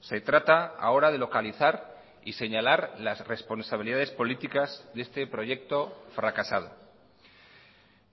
se trata ahora de localizar y señalar las responsabilidades políticas de este proyecto fracasado